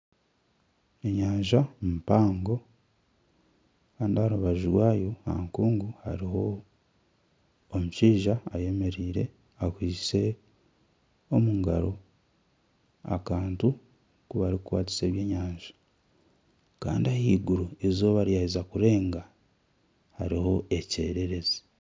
Enyanja mpango kandi aha rubaju rwayo hariho omushaija eyemereire akwitse akantu aku barikukwatisa ebyenyanja kandi ahaiguru eizooba ryaheza kurenga hariho ekyererezi